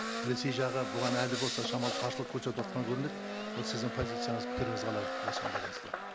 ресей жағы бұған әлі болса шамалы қарсылық көрсетіватқан көрінеді ол сіздің позицияңыз пікіріңіз қалай осыған байланысты